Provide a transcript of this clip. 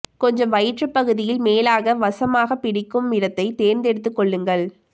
கொஞ்சம் வயிற்று பகுதியில் மேலாக வசமாக பிடிக்கும் இடத்தை தேர்ந்தெடுத்து கொள்ளுங்கள்